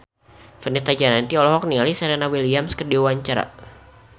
Fenita Jayanti olohok ningali Serena Williams keur diwawancara